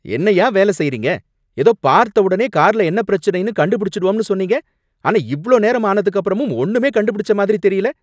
என்னையா வேலை செய்றீங்க! ஏதோ பார்த்த உடனே கார்ல என்ன பிரச்சனைனு கண்டுபிடிச்சிடுவோம்னு சொன்னீங்க. ஆனா இவ்ளோ நேரம் ஆனதுக்கு அப்புறமும் ஒண்ணுமே கண்டுபிடிச்ச மாதிரி தெரியல!